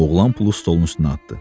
Oğlan pulu stolun üstünə atdı.